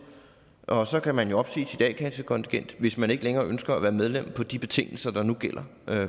og så kan man jo opsige sit a kassekontingent hvis man ikke længere ønsker at være medlem på de betingelser der nu gælder